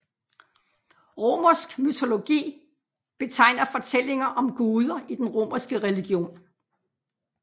Romersk mytologi betegner fortællinger om guder i den romerske religion